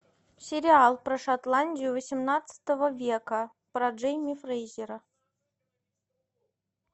сериал про шотландию восемнадцатого века про джинни фрейзера